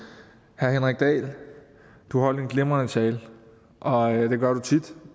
herre henrik dahl du holdt en glimrende tale og det gør du tit